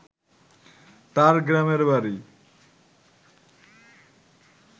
তার গ্রামের বাড়ি